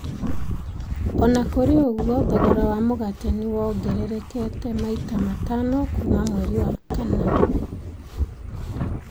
O na kũrĩ ũguo, thogora wa mũgate nĩ wongererekete maita matano kuuma mweri wa kana.